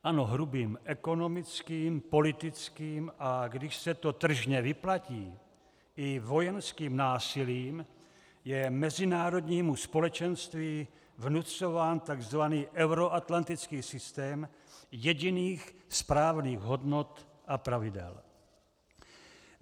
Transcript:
Ano, hrubým ekonomickým, politickým, a když se to tržně vyplatí, i vojenským násilím je mezinárodnímu společenství vnucován takzvaný euroatlantický systém jediných správných hodnot a pravidel.